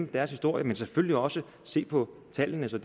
deres historie men selvfølgelig også se på tallene så